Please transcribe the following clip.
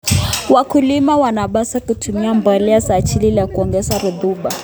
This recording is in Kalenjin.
Wakulima wanapaswa kutumia mbolea za asili ili kuongeza rutuba.